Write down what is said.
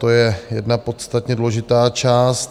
To je jedna podstatně důležitá část.